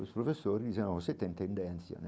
Os professores diziam, não, você tem tendência, né?